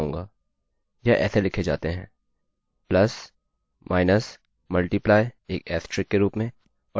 यह ऐसे लिखे जाते हैं plus minus multiply एक asterisk के रूप में और divide फॉर्वर्ड स्लैश के रूप में